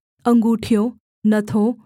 अँगूठियों नथों